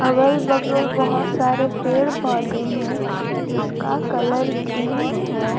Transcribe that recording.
अगल बगल बहुत सारे पेड़ पौधे हैं जिसका कलर ग्रीन है।